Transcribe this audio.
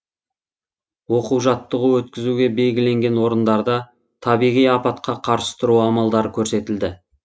оқу жаттығу өткізуге белгіленген орындарда табиғи апатқа қарсы тұру амалдары көрсетілді